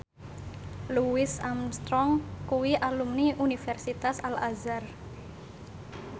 Louis Armstrong kuwi alumni Universitas Al Azhar